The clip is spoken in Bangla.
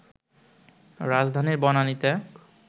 রাজধানীর বনানীতে